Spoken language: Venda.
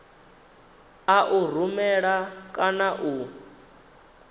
a u rumela kana u